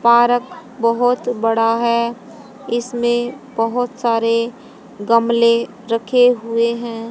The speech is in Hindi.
पारक बहुत बड़ा हैं इसमें बहुत सारे गमले रखे हुये हैं।